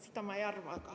Seda ma ei arva.